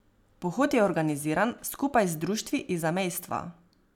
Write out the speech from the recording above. Pohod je organiziran skupaj z društvi iz zamejstva.